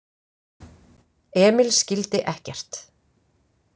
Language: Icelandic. Emil skildi ekkert.